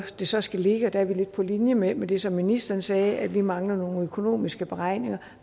det så skal ligge der er vi lidt på linje med med det som ministeren sagde om at vi mangler nogle økonomiske beregninger